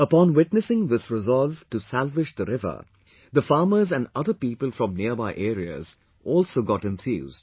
Upon witnessing this resolve to salvage the river, the farmers and other people from nearby areas also got enthused